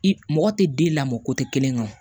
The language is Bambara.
I mɔgɔ tɛ den lamɔ ko tɛ kelen ka